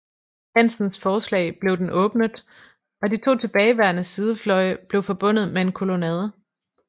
Hansens forslag blev den åbnet og de to tilbageværende sidefløje blev forbundet med en kolonnade